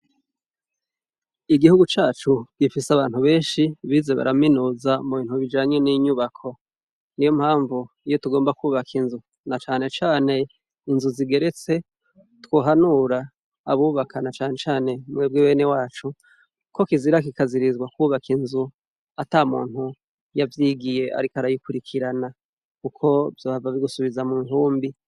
Igihugu cacu gifise abantu benshi bize baraminuza mubintu bijanye ni nyubako. Niyo mpamvu iyo tugomba kwubaka na cane cane inzu zigeretse, twohanura abubuka na cane cane mwebwe benewacu, ko kizira kikazirirzwa kwubaka inzu atamuntu yavyigiye ariko arayikurikirana kuko vyohava bigubiza mu ntumbi.